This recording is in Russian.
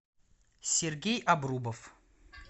сергей обрубов